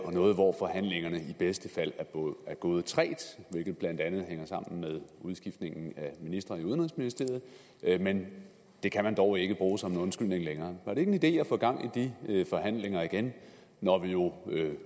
og noget hvor forhandlingerne i bedste fald er gået trægt hvilket blandt andet hænger sammen med udskiftningen af minister i udenrigsministeriet men det kan man dog ikke bruge som en undskyldning længere var det ikke en idé at få gang i de forhandlinger igen når vi jo